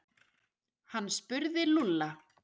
Hann spurði Lúlla.